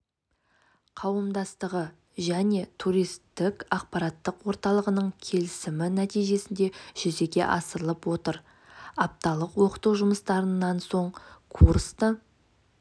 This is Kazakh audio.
қауымдастығы және туристік ақпараттық орталығының келісімі нәтижесінде жүзеге асырылып отыр апталық оқыту жұмыстарынан соң курсты